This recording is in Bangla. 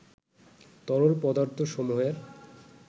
তরল পদার্থসমূহের